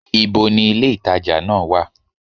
Ibo ni ilé-ìtàjà náà wà?